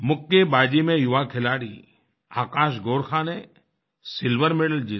मुक्केबाज़ी में युवा खिलाड़ी आकाश गोरखा ने सिल्वर मेडल जीता